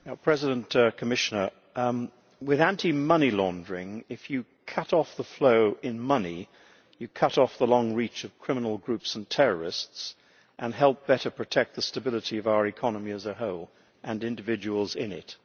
Madam President, with anti money laundering, if you cut off the flow in money, you cut off the long reach of criminal groups and terrorists and help better protect the stability of our economy as a whole and individuals in it.